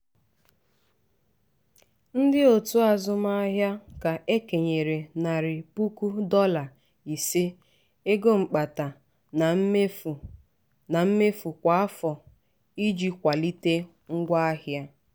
ndị otu azụmaahịa ka e kenyere narị puku dọla ise ego mkpata na mmefu na mmefu kwa afọ iji kwalite ngwa ahịa.